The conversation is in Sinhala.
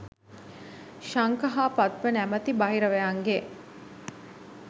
ශංඛ හා පද්ම නමැති බහිරවයන්ගේ